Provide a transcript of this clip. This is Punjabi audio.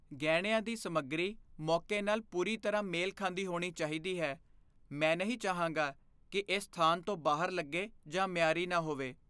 ਗਹਿਣਿਆਂ ਦੀ ਸਮੱਗਰੀ ਮੌਕੇ ਨਾਲ ਪੂਰੀ ਤਰ੍ਹਾਂ ਮੇਲ ਖਾਂਦੀ ਹੋਣੀ ਚਾਹੀਦੀ ਹੈ। ਮੈਂ ਨਹੀਂ ਚਾਹਾਂਗਾ ਕਿ ਇਹ ਸਥਾਨ ਤੋਂ ਬਾਹਰ ਲੱਗੇ ਜਾਂ ਮਿਆਰੀ ਨਾ ਹੋਵੇ।